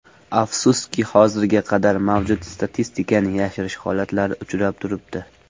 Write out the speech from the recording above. Afsuski hozirga qadar mavjud statistikani yashirish holatlari uchrab turibdi.